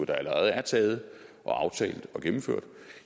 der allerede er taget og aftalt og gennemført